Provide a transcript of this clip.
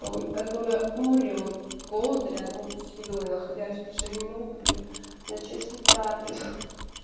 той которая умрёт от голода рядом с едой находящиеся не могу блин начать свою трапезу